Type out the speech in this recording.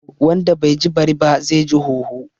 Wanda bai ji bari ba, zai ji hoho